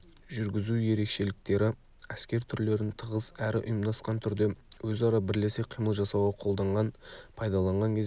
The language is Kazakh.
жүргізу ерекшеліктері әскер түрлерін тығыз әрі ұйымдасқан түрде өзара бірлесе қимыл жасауға қолданған пайдаланған кезде